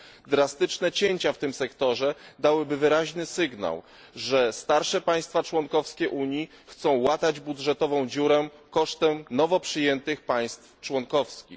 Drastyczne cięcia w tym sektorze dałyby wyraźny sygnał, że starsze państwa członkowskie Unii chcą łatać dziurę budżetową kosztem nowo przyjętych państw członkowskich.